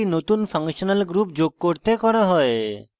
ডাটাবেসে একটি নতুন ফাংশনাল group যোগ করতে করা হয়